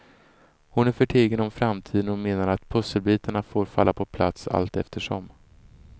Hon är förtegen om framtiden och menar att pusselbitarna får falla på plats allteftersom.